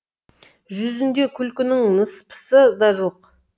жүзінде күлкінің ныспысы да жоқ